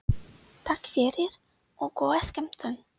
Takk fyrir og góða skemmtun.